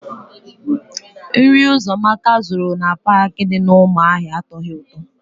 Nri Ụzọamaka zụrụ na Paakị dị n'Ụmụahịa atọghị ụtọ.